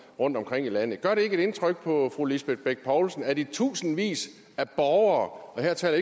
rundtomkring i landet gør det ikke indtryk på fru lisbeth bech poulsen at i tusindvis af borgere og her taler